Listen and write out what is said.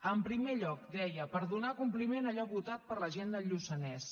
en primer lloc deia per donar compliment a allò votat per la gent del lluçanès